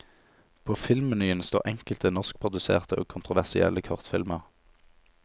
På filmmenyen står enkelte norskproduserte og kontroversielle kortfilmer.